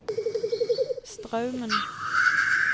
Straumen